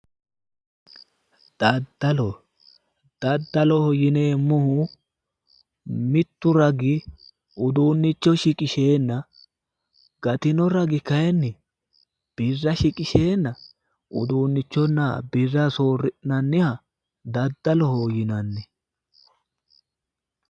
Daddall, daddalo yinneemmohu mitu ragi uduunnicho shiqisheenna gatino ragi kayinni birra shiqqishenna uduunnichonna birra soori'nanniha daddaloho yinnanni.